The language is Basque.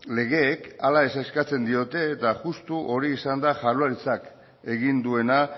legeek hala ez eskatzen diote eta justu hori izan da jaurlaritzak egin duena